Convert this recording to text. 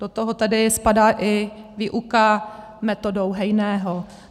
Do toho tedy spadá i výuka metodou Hejného.